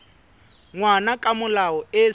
ngwana ka molao e sa